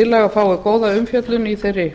tillaga fái góða umfjöllun í þeirri